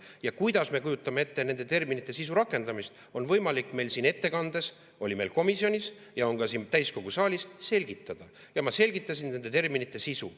Ja kuidas me kujutame ette nende terminite sisu rakendamist, seda on võimalik meil siin ettekandes, oli meil komisjonis ja on ka siin täiskogu saalis selgitada, ja ma selgitasin nende terminite sisu.